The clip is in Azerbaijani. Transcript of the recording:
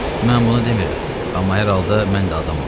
Mən bunu demirəm, amma hər halda mən də adamam.